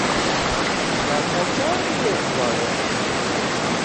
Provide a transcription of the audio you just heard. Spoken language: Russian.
закачай резвая